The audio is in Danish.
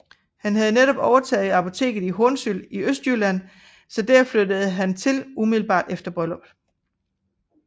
Han havde netop overtaget apoteket i Hornsyld i Østjylland så der flyttede de til umiddelbart efter brylluppet